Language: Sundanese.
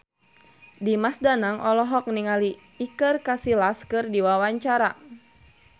Dimas Danang olohok ningali Iker Casillas keur diwawancara